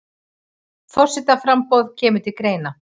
Forsetaframboð kemur til greina